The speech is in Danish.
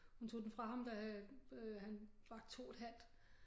Hun tog den fra ham da øh han var 2 et halvt